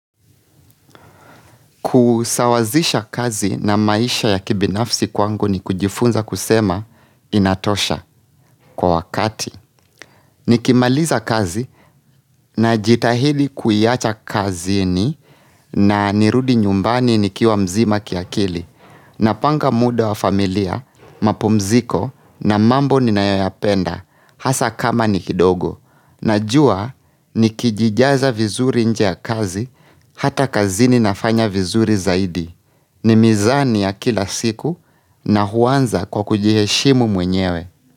Kusawazisha kazi na maisha ya kibinafsi kwangu ni kujifunza kusema inatosha kwa wakati. Nikimaliza kazi na jitahidi kuiacha kazini na nirudi nyumbani ni kiwa mzima kiakili. Napanga muda wa familia, mapumziko na mambo ni nayoyapenda hasa kama ni kidogo. Najua ni kijijaza vizuri nje ya kazi hata kazi ni nafanya vizuri zaidi. Ni mizani ya kila siku na huanza kwa kujiheshimu mwenyewe.